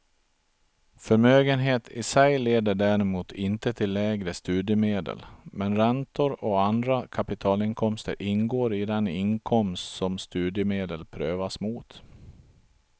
Förmögenhet i sig leder däremot inte till lägre studiemedel, men räntor och andra kapitalinkomster ingår i den inkomst som studiemedel prövas mot.